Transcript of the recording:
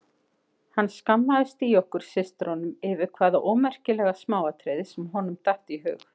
Hann skammaðist í okkur systrunum yfir hvaða ómerkilega smáatriði sem honum datt í hug.